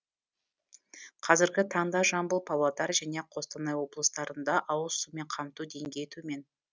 қазіргі таңда жамбыл павлодар және қостанай облыстарында ауызсумен қамту деңгейі төмен